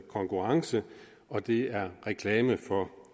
konkurrence og at det er reklame for